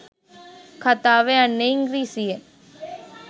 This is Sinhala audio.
කතාව යන්නේ ඉංග්‍රීසියෙන්.